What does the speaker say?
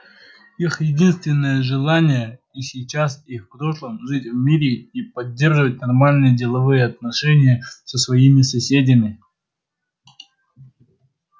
их единственное желание и сейчас и в прошлом жить в мире и поддерживать нормальные деловые отношения со своими соседями